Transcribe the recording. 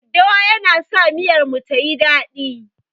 Daddawan yana sa miyar mu tayi dadi.